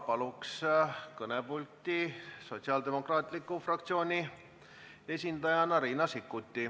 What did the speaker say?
Palun kõnepulti Sotsiaaldemokraatliku Erakonna fraktsiooni esindaja Riina Sikkuti.